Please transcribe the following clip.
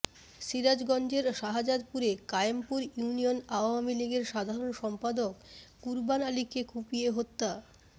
সিরাজগঞ্জের শাহজাদপুরে কায়েমপুর ইউনিয়ন আওয়ামী লীগের সাধারণ সম্পাদক কুরবান আলীকে কুপিয়ে হত্যা